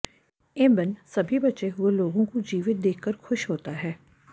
एबेन सभी बचे हुए लोगों को जीवित देख कर खुश होता है